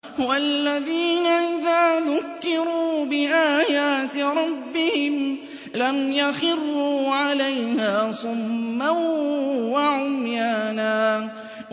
وَالَّذِينَ إِذَا ذُكِّرُوا بِآيَاتِ رَبِّهِمْ لَمْ يَخِرُّوا عَلَيْهَا صُمًّا وَعُمْيَانًا